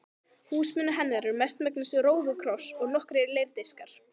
Húsmunir hennar eru mestmegnis róðukross og nokkrir leirdiskar.